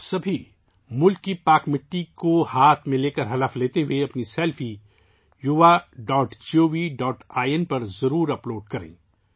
آپ سب ملک کی مقدس مٹی کو تھام کر حلف اٹھاتے ہوئے اپنی سیلفیز yuva.gov.in پر ضرور اپ لوڈ کریں